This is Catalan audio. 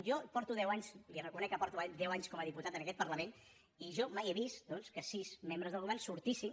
jo porto deu anys reconec que porto deu anys com a diputat en aquest parlament i jo mai he vist doncs que sis membres del govern sortissin